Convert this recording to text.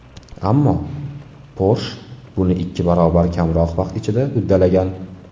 Ammo Porsche buni ikki barobar kamroq vaqt ichida uddalagan.